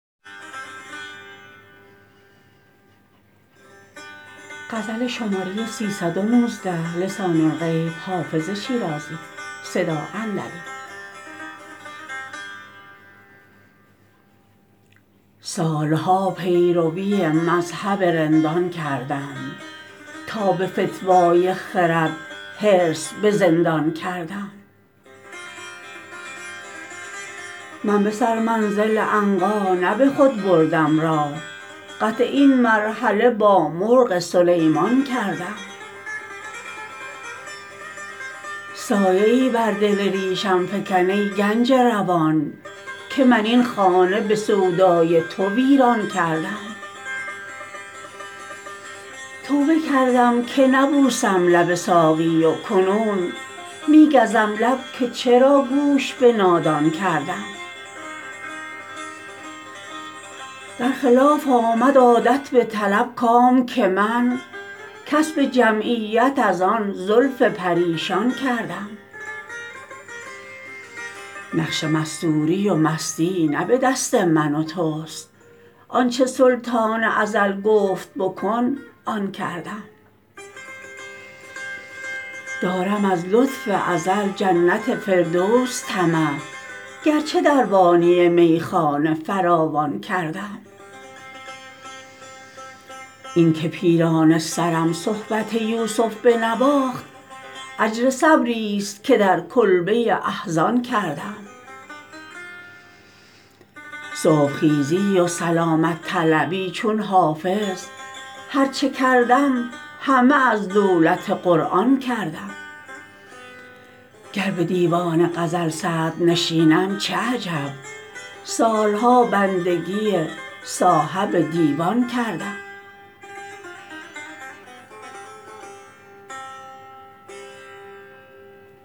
سال ها پیروی مذهب رندان کردم تا به فتوی خرد حرص به زندان کردم من به سرمنزل عنقا نه به خود بردم راه قطع این مرحله با مرغ سلیمان کردم سایه ای بر دل ریشم فکن ای گنج روان که من این خانه به سودای تو ویران کردم توبه کردم که نبوسم لب ساقی و کنون می گزم لب که چرا گوش به نادان کردم در خلاف آمد عادت بطلب کام که من کسب جمعیت از آن زلف پریشان کردم نقش مستوری و مستی نه به دست من و توست آن چه سلطان ازل گفت بکن آن کردم دارم از لطف ازل جنت فردوس طمع گرچه دربانی میخانه فراوان کردم این که پیرانه سرم صحبت یوسف بنواخت اجر صبریست که در کلبه احزان کردم صبح خیزی و سلامت طلبی چون حافظ هر چه کردم همه از دولت قرآن کردم گر به دیوان غزل صدرنشینم چه عجب سال ها بندگی صاحب دیوان کردم